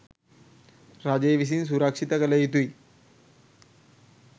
රජය විසින් සුරක්ෂිත කළ යුතුයි.